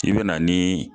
I bɛ na ni